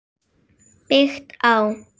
Byggt á